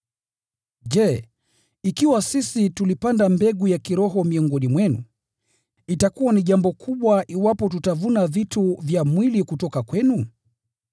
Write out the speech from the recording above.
Je, ikiwa sisi tulipanda mbegu ya kiroho miongoni mwenu, itakuwa ni jambo kubwa iwapo tutavuna vitu vya mwili kutoka kwenu?